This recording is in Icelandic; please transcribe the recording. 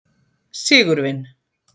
Sigurvin